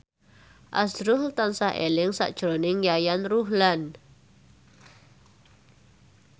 azrul tansah eling sakjroning Yayan Ruhlan